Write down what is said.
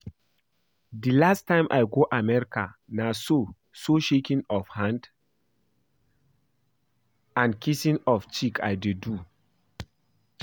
The last time I go America na so so shaking of hand and kissing of cheek I dey do